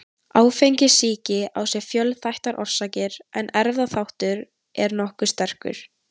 Áfengissýki á sér fjölþættar orsakir en erfðaþátturinn er nokkuð sterkur.